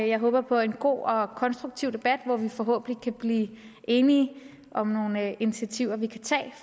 jeg håber på en god og konstruktiv debat hvor vi forhåbentlig kan blive enige om nogle initiativer vi kan tage